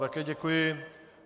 Také děkuji.